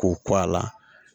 K'o k'a la